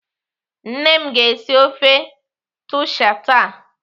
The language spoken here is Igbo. Nne m ga-esi ofe taushe taa.